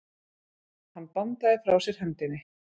Hann bandaði frá sér hendinni.